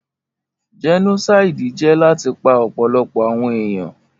Jẹ́nósáídì jẹ́ láti pa ọ̀pọ̀lọpọ̀ àwọn èèyàn